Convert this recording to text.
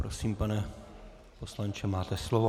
Prosím, pane poslanče, máte slovo.